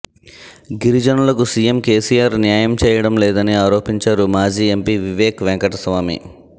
గిరిజనులకు CM KCR న్యాయం చేయడం లేదని ఆరోపించారు మాజీ ఎంపీ వివేక్ వెంకటస్వామి